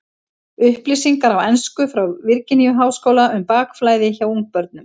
Upplýsingar á ensku frá Virginíu-háskóla um bakflæði hjá ungbörnum.